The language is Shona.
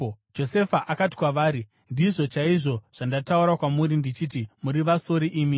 Josefa akati kwavari, “Ndizvo chaizvo zvandataura kwamuri ndichiti: Muri vasori imi!